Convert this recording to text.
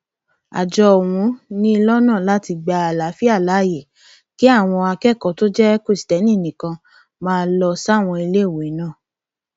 àjọ ọhún ni lọnà àti gba àlàáfíà láàyè kí àwọn akẹkọọ tó jẹ kristẹni nìkan máa lọ sáwọn iléèwé náà